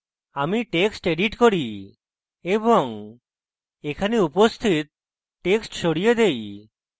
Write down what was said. আমি text edit করি এবং এখানে উপস্থিত text সরিয়ে দেই